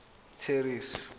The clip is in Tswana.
terry's